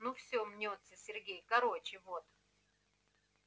ну все мнётся сергей короче вот